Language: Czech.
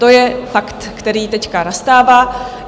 To je fakt, který teď nastává.